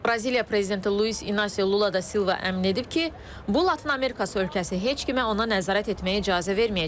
Braziliya prezidenti Luis İnasio Lula da Silva əmin edib ki, bu Latın Amerikası ölkəsi heç kimə ona nəzarət etməyə icazə verməyəcək.